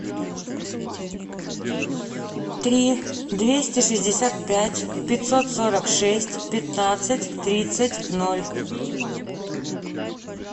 три двести шестьдесят пять пятьсот сорок шесть пятнадцать тридцать ноль